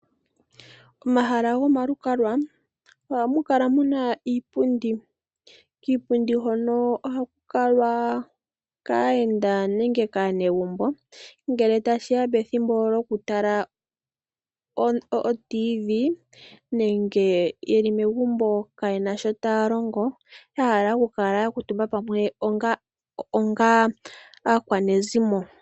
Omahala gomalukalwa ohamukala muna iipundi, kiipundi hono ohakukalwa kaayenda nenge kaanegumbo ngele tashiya pethimbo lyokutala radio yomuzizimba nenge yeli megumbo kayena shotaya longo yahala okukala yakuutumba pamwe onga aakwanezimo.